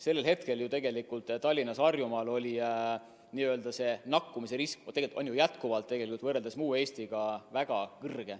Sellel hetkel ju tegelikult Tallinnas ja mujal Harjumaal oli nakatumisrisk – ja on jätkuvalt võrreldes muu Eestiga – väga kõrge.